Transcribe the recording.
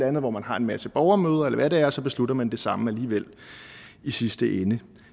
andet hvor man har en masse borgermøder eller hvad det er og så beslutter man det samme alligevel i sidste ende